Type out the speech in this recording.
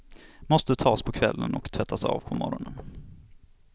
Måste tas på kvällen och tvättas av på morgonen.